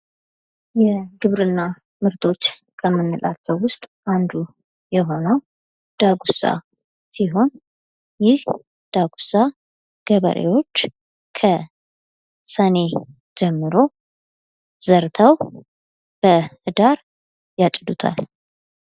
የግብርና ምርቶች ከምንላቸው ውስጥ አንዱ የሆነው ዳጉሳ ሲሆን ይህ ዳጉሳ ገበሬዎች ከሰኔ ጀምሮ ዘርተው በህዳር ያጭዱታል።